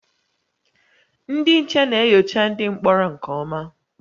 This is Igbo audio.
Ndị nche na-enyocha ndị mkpọrọ nke ọma